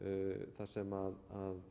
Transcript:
þar sem